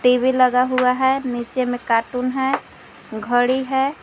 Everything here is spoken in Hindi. टी_वी लगा हुआ है नीचे में कार्टून है घड़ी है।